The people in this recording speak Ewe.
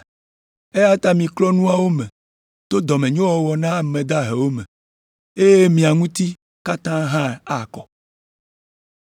Eya ta miklɔ nuawo me to dɔmenyowɔwɔ na ame dahewo me, eye mia ŋuti katã hã akɔ.